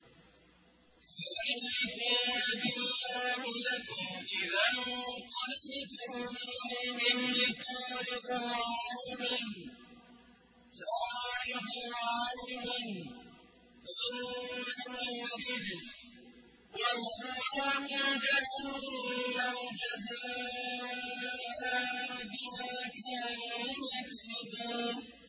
سَيَحْلِفُونَ بِاللَّهِ لَكُمْ إِذَا انقَلَبْتُمْ إِلَيْهِمْ لِتُعْرِضُوا عَنْهُمْ ۖ فَأَعْرِضُوا عَنْهُمْ ۖ إِنَّهُمْ رِجْسٌ ۖ وَمَأْوَاهُمْ جَهَنَّمُ جَزَاءً بِمَا كَانُوا يَكْسِبُونَ